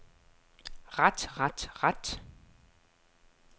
ret ret ret